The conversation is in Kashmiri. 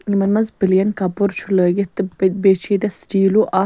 یِمن منٛزپلین .کپُرچُھ لٲگِتھ تہٕ ب بیٚیہِ چُھ یِیٚتٮ۪تھ سٹیٖلوٗاکھ